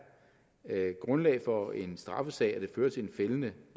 grundlag for en straffesag og det fører til en fældende